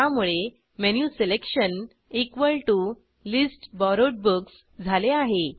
त्यामुळे menu selection list borrowed books झाले आहे